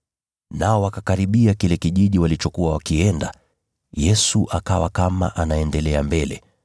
Nao walipokaribia kile kijiji walichokuwa wakienda, Yesu akawa kama anaendelea mbele.